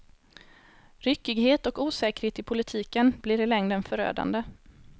Ryckighet och osäkerhet i politiken blir i längden förödande.